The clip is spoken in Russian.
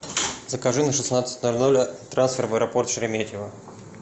закажи на шестнадцать ноль ноль трансфер в аэропорт шереметьево